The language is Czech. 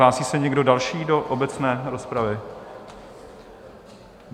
Hlásí se někdo další do obecné rozpravy?